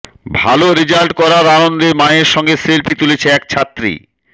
ভালো রেজাল্ট করার আনন্দের মায়ের সঙ্গে সেলফি তুলছে এক ছাত্রী